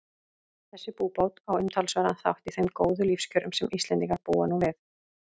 Þessi búbót á umtalsverðan þátt í þeim góðu lífskjörum sem Íslendingar búa nú við.